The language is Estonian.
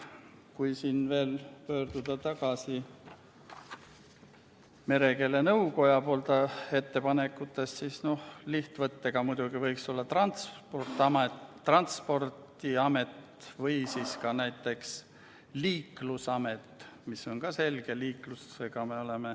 Kui siin veel rääkida merekeele nõukoja ettepanekutest, siis lihtsaim variant muidugi võiks olla transpordiamet või ka liiklusamet, mis on ka selge mõiste.